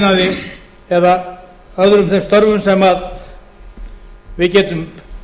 stóriðnaði eða öðrum þeim störfum sem við getum